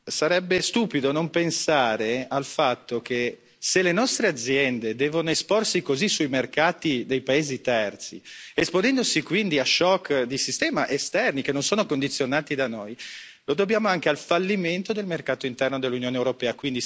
Sarebbe stupido non pensare al fatto che se le nostre aziende devono esporsi così sui mercati dei paesi terzi, esponendosi quindi a shock di sistema esterni che non sono condizionati da noi, lo dobbiamo anche al fallimento del mercato interno dell'Unione europea.